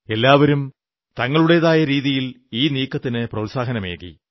എല്ലാവരും തങ്ങളുടേതായ രീതിയിൽ ഈ നീക്കത്തിന് പ്രോത്സാഹനമേകി